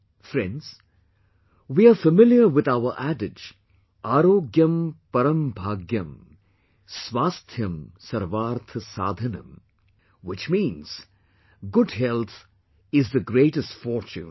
Friends, we are familiar with our adage "Aarogyam Param Bhagyam, Swasthyam Sarwaarth Sadhanam" which means good health is the greatest fortune